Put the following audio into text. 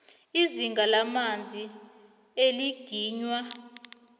izinga lamanzi eliginywa